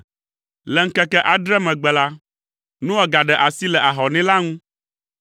Le ŋkeke adre megbe la, Noa gaɖe asi le ahɔnɛ la ŋu.